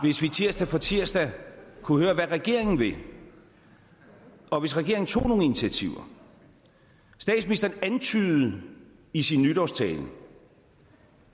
hvis vi tirsdag for tirsdag kunne høre hvad regeringen vil og hvis regeringen tog nogle initiativer statsministeren antydede i sin nytårstale